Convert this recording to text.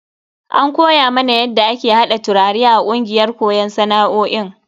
An koya mana yadda ake hada turare a kungiyar koyon sana'o'in.